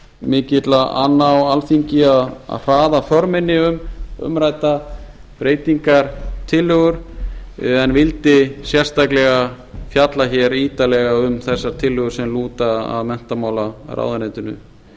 mikilla anna á alþingi að hraða för minni um umræddar breytingartillögur en vildi sérstaklega fjalla ítarlega um þessar tillögur sem lúta að menntamálaráðuneytinu en